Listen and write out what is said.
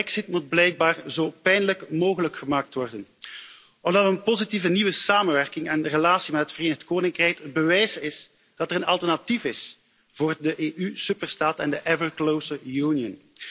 De brexit moet blijkbaar zo pijnlijk mogelijk gemaakt worden omdat een positieve nieuwe samenwerking en relatie met het Verenigd Koninkrijk het bewijs zijn dat er een alternatief is voor de EU superstaat en de steeds hechtere Unie.